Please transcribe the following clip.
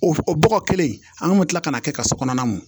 O o bɔgɔ kelen in an kun mi kila ka na kɛ ka so kɔnɔna mɔ mɔ